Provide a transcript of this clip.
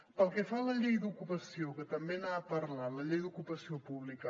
pel que fa a la llei d’ocupació que també n’ha parlat la llei d’ocupació pública